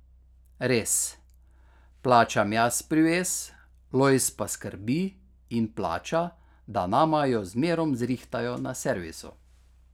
Res, plačam jaz privez, Lojz pa skrbi in plača, da nama jo zmerom zrihtajo na servisu.